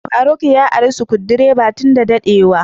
Faruk ya ara Sukudireban tun da dade wa.